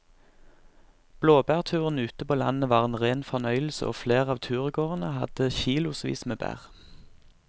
Blåbærturen ute på landet var en rein fornøyelse og flere av turgåerene hadde kilosvis med bær.